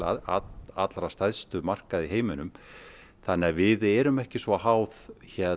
allra stærstu markaða í heiminum þannig við erum ekki svo háð